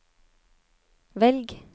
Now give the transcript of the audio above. velg